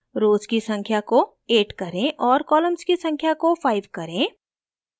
rows की संख्या को 8 करें और columns की संख्या को 5 करें